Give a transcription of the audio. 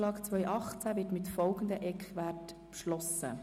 Dieser wird mit folgenden Eckwerten beschlossen: